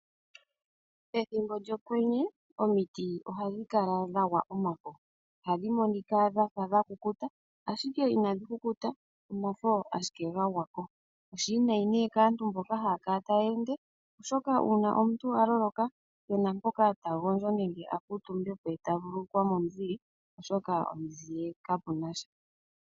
Pethimbo lyokwenye omiti ohadhi kala dhagwa omafo, ohadhi kala tadhi monika dhafa dhakukuta ashike inadhi kukuta omolwa ashike omafo ngo ga gwako. Ohashi kala oshinima oshiwiinayi kaayenda nandjila oshoka ngele omuntu a loloka oha kala keehena mpoka ta gondjo ando a vululukwe ngaa momuzile.